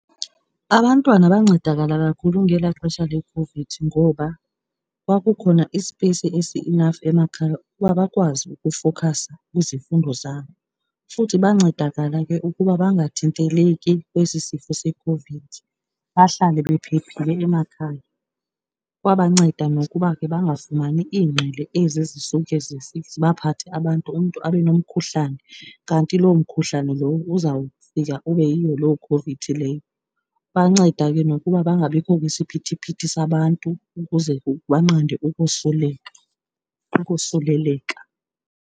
Abantwana bancedakala kakhulu ngelaa xesha leCOVID ngoba kwakukhona isipeyisi esi-enough emakhaya ukuba bakwazi ukufokhasa kwizifundo zabo. Futhi bancedakala ke ukuba bangathinteleki kwesi sifo seCOVID, bahlale bephephile emakhaya. Kwabanceda nokuba ke bangafumani iingqele ezi zisuke zibaphathe abantu, umntu abe nomkhuhlane kanti loo mkhuhlane lowo uzawufika ube yiyo loo COVID leyo. Banceda ke nokuba bangabikho kwisiphithiphithi sabantu ukuze banqande ukosuleleka.